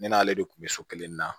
Ne n'ale de kun bɛ so kelen nin na